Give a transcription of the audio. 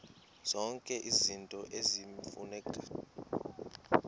zonke izinto eziyimfuneko